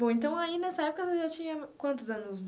Bom, então aí nessa época você já tinha quantos anos?